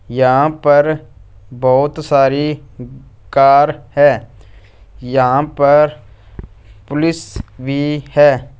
यहां पर बहोत सारी कार है। यहां पर पुलिस भी है।